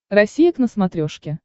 россия к на смотрешке